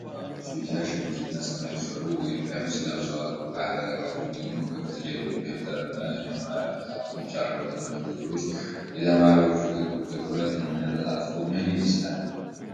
ብዙዎቹ ተማሪዎች ቢጫ ሸሚዝ እና ሰማያዊ ሱሪ ወይም ቀሚስ ለብሰዋል፤ ከአጠገባቸው ደግሞ ክፍት ደብተርና የመማሪያ መጽሐፍቶች አሉ። በትምህርት ክፍሉ ውስጥ የተማሪዎቹ ትኩረት እና ተሳትፎ ምን ይመስላል?